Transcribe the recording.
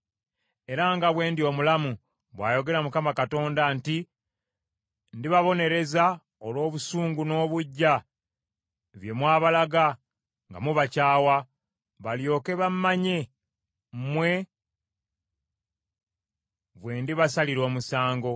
era nga bwe ndi omulamu, bw’ayogera Mukama Katonda nti, ndibabonereza olw’obusungu n’obuggya bye mwabalaga nga mubakyawa, balyoke bammanye, mmwe bwe ndibasalira omusango.